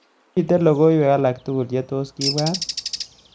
Miten logoywek alaktugul chetos kebwat